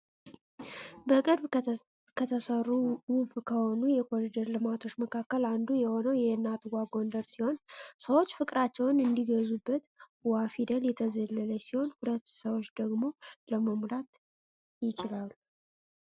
በቅርብ ከተሰሩ ውብ ከሆኑ የኮሪደር ልማቶች መካከል አንዱ የሆነው የእናት ዋ ጎንደር ሲሆን ሰዎች ፍቅራቸው እንዲገዙበት ዋ ፊደል የተዘለደች ሲሆን ሁለት ሰዎች ደግሞ መሙላት ይችላሉ።